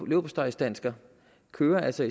leverpostejsdansker kører altså